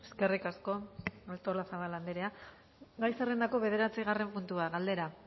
eskerrik asko artolazabal andrea gai zerrendako bederatzigarren puntua galdera